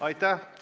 Aitäh!